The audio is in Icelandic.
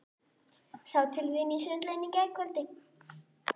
Sá til þín í sundlauginni í gærkvöldi.